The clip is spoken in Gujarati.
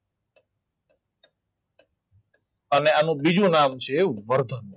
અને આનું બીજું નામ છે વર્ધન